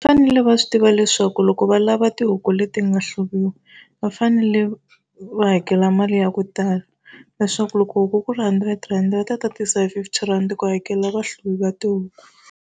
Va fanele va swi tiva leswaku loko va lava tihuku leti nga hluviwa va fanele va hakela mali ya ku tala, leswaku loko huku ku ri hundred rand va ta tatisa hi fifty rand ku hakela vahluvi va tihuku.